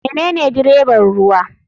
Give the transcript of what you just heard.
Menene dreban ruwa.